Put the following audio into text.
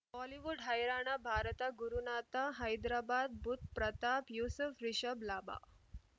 Bollywood ಹೈರಾಣ ಭಾರತ ಗುರುನಾಥ ಹೈದರಾಬಾದ್ ಬುಧ್ ಪ್ರತಾಪ್ ಯೂಸುಫ್ ರಿಷಬ್ ಲಾಭ